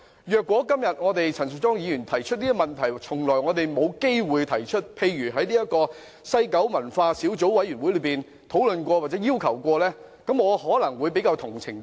如果今天陳淑莊議員提出的問題，我們從來沒有機會提出，例如沒有在聯合小組委員會討論過，我可能會比較理解。